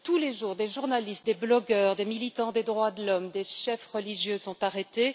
Tous les jours, des journalistes, des blogueurs, des militants des droits de l'homme, des chefs religieux sont arrêtés.